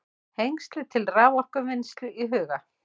Hengli til raforkuvinnslu í huga.